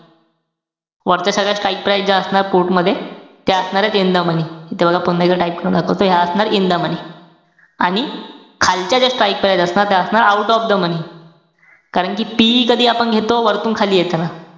वरच्या सगळ्या strike price ज्या असणार put मध्ये, त्या असणारे in the money. इथे बघा, पुन्हा एकदा type करून दाखवतोय. ह्या असणार in the money. आणि खालच्या ज्या strike price असणार, त्या असणार out of the money. कारण कि, TE कधी आपण घेतो? वरतून खाली येताना.